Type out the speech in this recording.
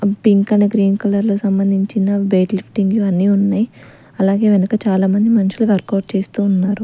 Pink and green colour లో సంబంధించిన weight లిఫ్టింగులు అన్నీ ఉన్నాయి అలాగే వెనక చాలా మంది మనుషులు వర్కౌట్ చేస్తూ ఉన్నారు.